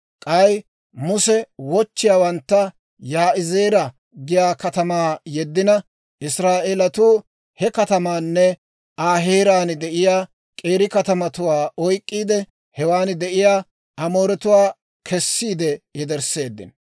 K'ay Muse wochchiyaawantta Yaa'izeera giyaa katamaa yeddina, Israa'eelatuu he katamaanne Aa heeraan de'iyaa k'eeri katamatuwaa oyk'k'iide, hewan de'iyaa Amooretuwaa kessiide yedersseeddino.